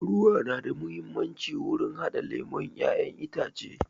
Ruwa yana da amfani wurin haɗa lemon ƴaƴen itace